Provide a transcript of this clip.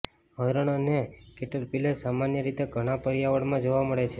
હરણ અને કેટરપિલર સામાન્ય રીતે ઘણાં પર્યાવરણમાં જોવા મળે છે